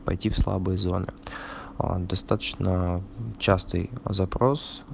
пойти в слабые зоны а достаточно частый запрос